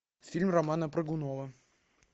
фильм романа прыгунова